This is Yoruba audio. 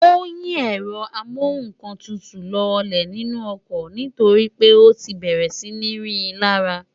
ó yí ẹ̀rọ amọ́kọ̀tutù lọlẹ̀ nínú ọkọ̀ nítorí pé ó ti bẹ̀rẹ̀ sí ń rí i lárá